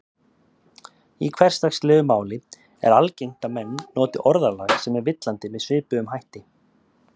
Í hversdagslegu máli er algengt að menn noti orðalag sem er villandi með svipuðum hætti.